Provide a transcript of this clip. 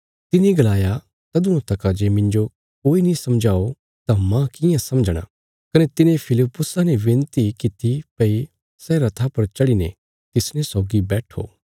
तिने गलाया तदुआं तका जे मिन्जो कोई नीं समझाओ तां माह कियां समझणा कने तिने फिलिप्पुसा ने विनती कित्ती भई सै रथा पर चढ़ीने तिसने सौगी बैट्ठो